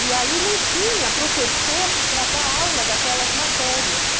E aí não tinha professor para dar aula daquelas matérias.